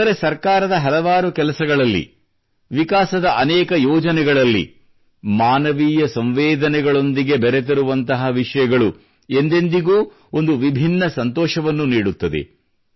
ಆದರೆ ಸರ್ಕಾರದ ಹಲವಾರು ಕೆಲಸಗಳಲ್ಲಿ ವಿಕಾಸದ ಅನೇಕ ಯೋಜನೆಗಳಲ್ಲಿ ಮಾನವೀಯ ಸಂವೇದನೆಗಳೊಂದಿಗೆ ಬೆರೆತಿರುವಂತಹ ವಿಷಯಗಳು ಎಂದೆಂದಿಗೂ ಒಂದು ವಿಭಿನ್ನ ಸಂತೋಷವನ್ನು ನೀಡುತ್ತದೆ